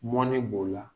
Mɔni b'o la